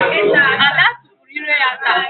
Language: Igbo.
Ada tupuru ire ya ta.